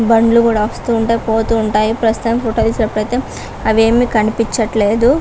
బండ్లు కూడా వస్తూ ఉంటాయి పోతూ ఉంటాయి. ప్రస్తుతానికి ఈ ఫోటో తీసేటప్పుడు మాత్రం అవేవీ కనిపించట్లేదు.